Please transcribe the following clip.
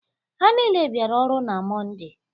Ha niile biara ọrụ na Mọnde